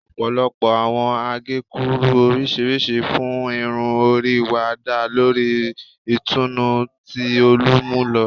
Ọpọlọpọ awọn agekuru oriṣiriṣi fun irun ori wa da lori itunu ti olumulo